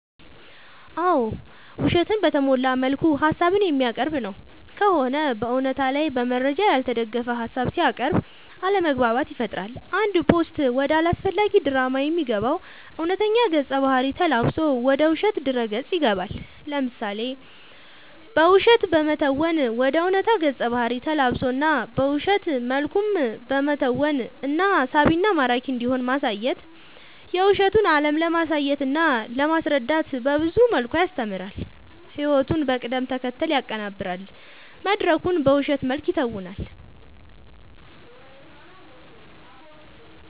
አዎ ውሸትን በተሞላ መልኩ ሀሳብን የሚያቀርብ ነው ከሆነ በእውነታ ላይ በመረጃ ያልተደገፈ ሀሳብ ሲያቅርብ አለማግባባት ይፈጥራል አንድ ፓስታ ወደ አላስፈላጊ ድራማ የሚገባው እውነተኛ ገፀ ባህርይ ተላብሶ ወደ ውሸት ድረ ገፅ ይገባል። ለምሳሌ በውሸት በመተወን ወደ ዕውነታ ገፀ ባህሪ ተላብሶ እና በውሸት መልኩም በመተወን እና ሳቢና ማራኪ እንዲሆን ማሳየት የውሸቱን አለም ለማሳየትና ለማስረዳት በብዙ መልኩ ያስተምራል ህይወቱን በቅደም ተከተል ያቀናብራል መድረኩን በውሸት መልክ ይተውናል።…ተጨማሪ ይመልከቱ